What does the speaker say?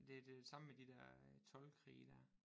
Det er det samme med de der toldkrige dér